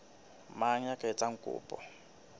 mang ya ka etsang kopo